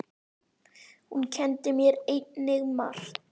Hún kenndi mér einnig margt.